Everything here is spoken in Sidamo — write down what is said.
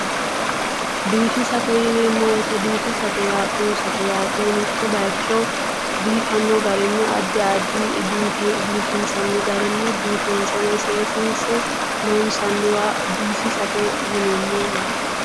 Biifisate yineemmo woyite biifisate yaa xunsate yaate. Mitto bayicho biifanno garinni addi addi biifinnsanni garinni biifinse woyi seesiinse loonsanniwa biifisate yineemmo yaate.